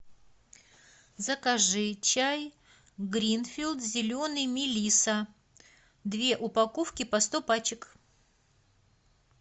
закажи чай гринфилд зеленый мелисса две упаковки по сто пачек